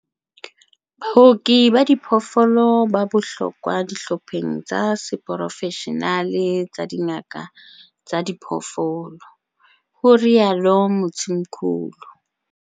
Baoki ba diphoofolo ba bohlokwa dihlopheng tsa seporofeshenale tsa dingaka tsa diphoofolo, ho rialo Mthimkhulu.